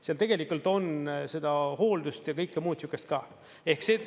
Seal tegelikult on seda hooldust ja kõike muud sihukest ka.